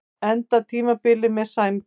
Getum endað tímabilið með sæmd